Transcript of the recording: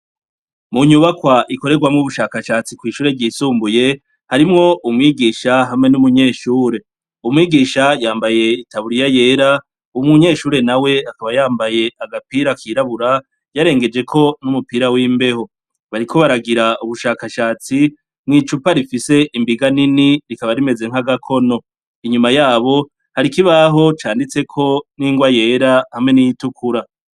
Munyubakwa ikorerwamwo ubushakashatsi kw'ishure ryisumbuye harimwo umwigisha hamwe n'umunyeshure umwigisha yambaye itaburiya yera u munyeshure na we akaba yambaye agapira kirabura yarengejeko n'umupira w'imbeho bariko baragira ubushakashatsi mw'icupa rifise imbiganine ni rikaba rimeze nk'agakono inyuma yabo hari ikibaho canditseko n'ingo a yera hamwe n'iyitukura.